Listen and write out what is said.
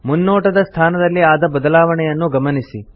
ಮುನ್ನೋಟದ ಸ್ಥಾನದಲ್ಲಿ ಆದ ಬದಲಾವಣೆಯನ್ನು ಗಮನಿಸಿ